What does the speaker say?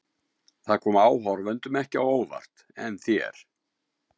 Það kom áhorfendum ekki á óvart en þér?